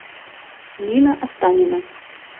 нина останина